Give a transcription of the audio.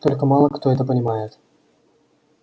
только мало кто это понимает